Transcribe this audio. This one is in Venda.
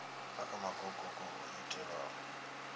ha kha magokoko o itelwaho